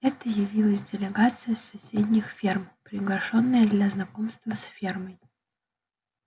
это явилась делегация с соседних ферм приглашённая для знакомства с фермой